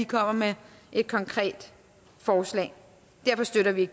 kommer med et konkret forslag derfor støtter vi